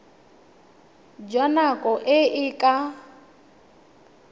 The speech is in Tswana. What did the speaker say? jwa nako e e ka